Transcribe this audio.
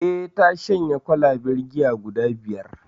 Eh ta shanye kwalaben giya guda biyar